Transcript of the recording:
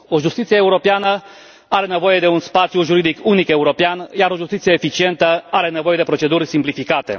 O justiție europeană are nevoie de un spațiu juridic unic european, iar o justiție eficientă are nevoie de proceduri simplificate.